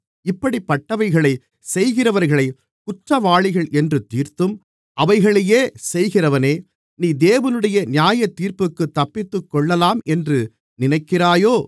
இப்படிப்பட்டவைகளைச் செய்கிறவர்களைக் குற்றவாளிகள் என்று தீர்த்தும் அவைகளையே செய்கிறவனே நீ தேவனுடைய நியாயத்தீர்ப்புக்குத் தப்பித்துக்கொள்ளலாம் என்று நினைக்கிறாயோ